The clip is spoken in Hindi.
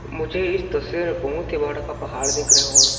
मुझे इस तस्वीर में बहुत ही बड़ा का पहाड़ दिख रहे हो और --